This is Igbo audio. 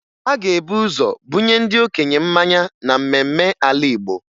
A ga-ebu ụzọ bunye ndị okenye mmanya na mmemme ala Igbo